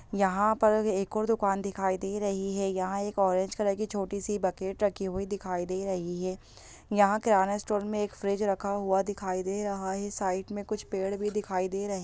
यहाँ पर एक और दुकान दिखाई दे रही है यहाँ एक ऑरेंज कलर की छोटी सी बकेट रखी हुई दिखाई दे रही है यहाँ किराना स्टोर में एक फ्रिज रखा हुआ दिखाई दे रहा है साइड में कुछ पेड़ भी दिखाई दे रहे --